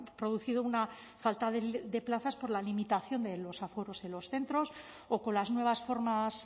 producido una falta de plazas por la limitación de los aforos en los centros o con las nuevas formas